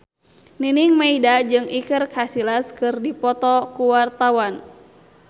Nining Meida jeung Iker Casillas keur dipoto ku wartawan